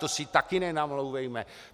To si taky nenamlouvejme!